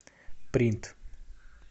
принт